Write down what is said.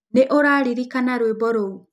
Níũraririkana rwímbo rũu.